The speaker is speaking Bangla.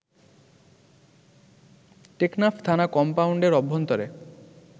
টেকনাফ থানা কম্পাউন্ডের অভ্যন্তরে